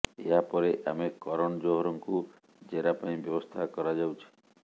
ଏହା ପରେ ଆମେ କରଣ ଜୋହରଙ୍କୁ ଜେରା ପାଇଁ ବ୍ୟବସ୍ଥା କରାଯାଉଛି